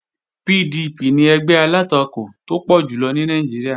PDP ni ẹgbẹ́ alátakò tó pọ̀ jùlọ ní Nàìjíríà